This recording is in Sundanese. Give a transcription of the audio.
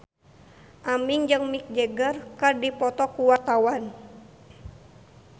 Aming jeung Mick Jagger keur dipoto ku wartawan